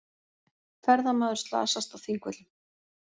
Ferðamaður slasast á Þingvöllum